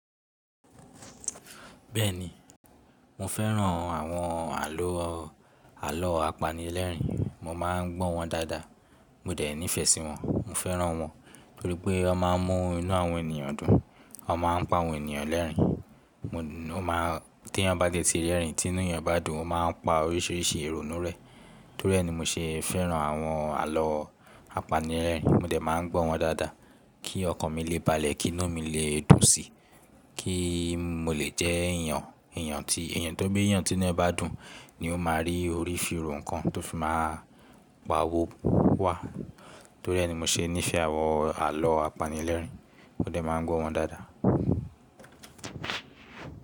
Bẹ́ẹ̀ni, mo fẹ́ràn àwọn àlọ́, àlọ́ apanilẹ́rìn-ín. Mo máa ń gbọ́ wọn dáadáa. Mo dẹ̀ ńí fẹ́ sí wọn. Mo fẹ́ràn wọn nítorí pé wọ́n máa ń mú inú àwọn ènìyàn dùn. Wọ́n máa ń pa àwọn ènìyàn lẹ́rìn-ín. Mo máa, tí wọn bá tètè rẹ́rìn-ín, tí inú ẹni bá dùn, ó máa ń pa oríṣiríṣi ìrònú rẹ́ Torí ẹ ni mo ṣe fẹ́ràn àwọn àlọ́ apanilẹ́rìn-ín. Mo dẹ̀ máa ń gbọ́ wọn dáadáa kí ọkàn mi lè balẹ̀, kí inú mi lè dùn síi, kí mo lè jẹ́ èèyàn, èèyàn tí, èèyàn tó bí èèyàn tí inú ẹ bá dùn ni ó máa rí orí fi ro ǹkan tó fi máa pawo wá. Torí ẹ ni mo ṣe nífẹ̀ẹ́ àwọn àlọ́ apanilẹ́rìn-ín. Mo dẹ̀ máa ń gbọ́ wọn dáadáa.